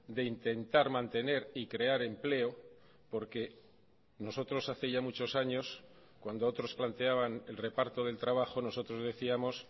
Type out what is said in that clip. de intentar mantener y crear empleo porque nosotros hace ya muchos años cuando otros planteaban el reparto del trabajo nosotros decíamos